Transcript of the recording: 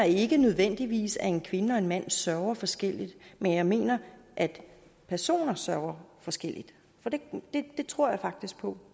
ikke nødvendigvis mener at en kvinde og en mand sørger forskelligt men jeg mener at personer sørger forskelligt det tror jeg faktisk på